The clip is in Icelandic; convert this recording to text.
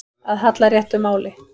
Að halla réttu máli